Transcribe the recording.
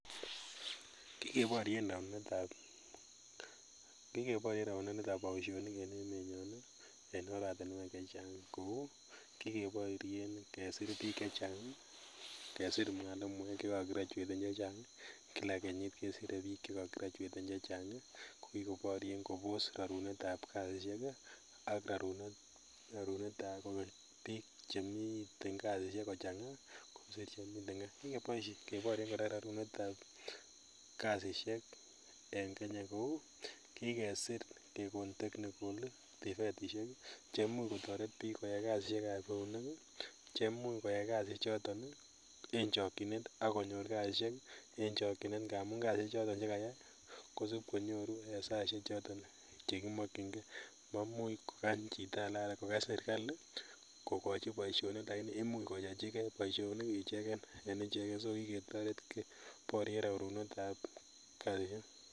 Kikeporyen rorunetab boisionik en emenyon ii en oratinwek chechang kou kikeporyen kesir biik chechang, kesir mwalimuek cheko gradueten chechang kila kenyit kesire biik cheko graduaten chechang kokikoborien kobose rorunetab biik chemiten kasisiek kochang'aa kosir chemiten gaa, kikeporyen kora rorunetab kasisiek en kenya kou kikesir kekon technicals, tvetisiek cheimuch kotoret biik koyai kasisiekab eunek ii, cheimuch koyai kasisiechoton ii en chokyinet akonyor kasisiek en chokyinet ngamun kasisiechoton chekayai konyoru en saisiechoton chekimokyingee mamuch kokany chito ake alan kokany serikali kokochi boisioni8k lakini imuch koyochikee boisionik icheken en icheken so kiketoret gee keporyen rorunetab kasisiek.